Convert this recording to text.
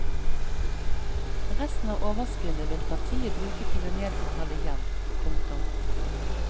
Resten av overskuddet vil partiet bruke til å nedbetale gjeld. punktum